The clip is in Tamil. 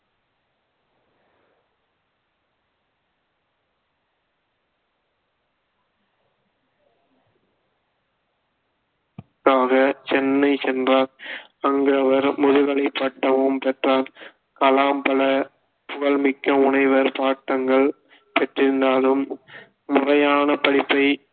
சென்னை சென்றார் அங்கு அவர் முதுகலை பட்டமும் பெற்றார் கலாம் பல புகழ்மிக்க முனைவர் பாட்டங்கள் பெற்றிருந்தாலும் முறையான படிப்பை